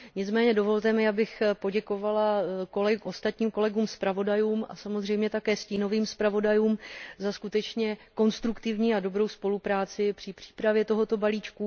Nicméně dovolte mi, abych poděkovala ostatních kolegům, zpravodajům a samozřejmě také stínovým zpravodajům za skutečně konstruktivní a dobrou spolupráci při přípravě tohoto balíčku.